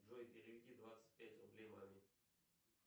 джой переведи двадцать пять рублей маме